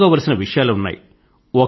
తెలుసుకోవలసిన విషయాలు ఉన్నాయి